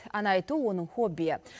ән айту оның хоббиі